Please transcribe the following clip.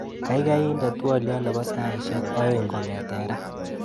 Kaikai inde twoliot nebo saishek aeng' kong'ete raa.